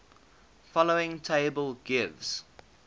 following table gives